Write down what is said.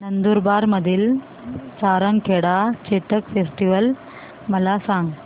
नंदुरबार मधील सारंगखेडा चेतक फेस्टीवल मला सांग